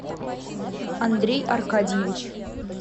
андрей аркадьевич